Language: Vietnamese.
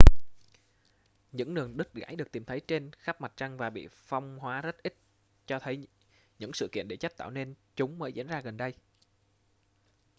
những đường đứt gãy được tìm thấy trên khắp mặt trăng và bị phong hóa rất ít cho thấy những sự kiện địa chất tạo nên chúng mới diễn ra gần đây